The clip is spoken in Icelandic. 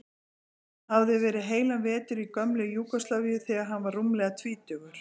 Hann hafði verið heilan vetur í gömlu Júgóslavíu þegar hann var rúmlega tvítugur.